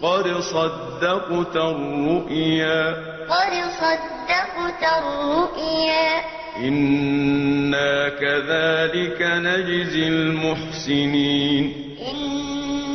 قَدْ صَدَّقْتَ الرُّؤْيَا ۚ إِنَّا كَذَٰلِكَ نَجْزِي الْمُحْسِنِينَ قَدْ صَدَّقْتَ الرُّؤْيَا ۚ